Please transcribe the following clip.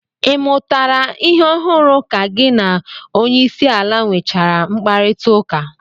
Ị mụtara ihe ọhụrụ ka gị na onyeisiala nwechaala mkparịtaụka?